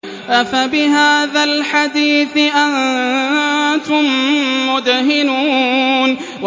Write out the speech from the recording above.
أَفَبِهَٰذَا الْحَدِيثِ أَنتُم مُّدْهِنُونَ